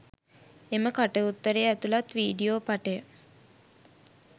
එම කට උත්තරය ඇතුළත් වීඩීයෝ පටය